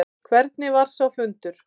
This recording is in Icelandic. Hvernig var sá fundur?